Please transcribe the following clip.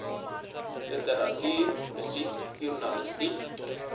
literatuur musiek joernalistiek